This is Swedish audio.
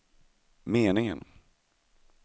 meningen